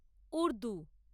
Urdu